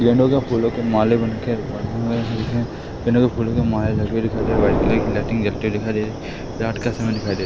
white colour की light जलती हुई दिखाई दे रही है रात का समय दिखाई दे--